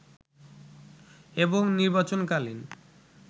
এবং নির্বাচন কালীন